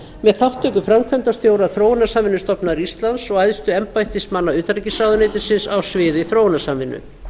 með þátttöku framkvæmdastjóra þróunarsamvinnustofnunar íslands og æðstu embættismanna utanríkisráðuneytisins á sviði þróunarsamvinnu